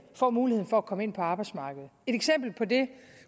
får mulighed for at komme ind på arbejdsmarkedet et eksempel på det